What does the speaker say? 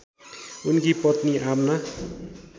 उनकी पत्नी आमना